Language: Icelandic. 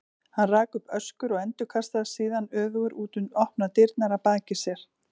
Hann rak upp öskur og endurkastaðist síðan öfugur út um opnar dyrnar að baki sér.